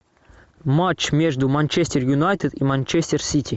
матч между манчестер юнайтед и манчестер сити